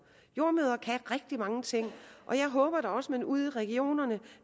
jordemødre kan rigtig mange ting og jeg håber da også at man ude i regionerne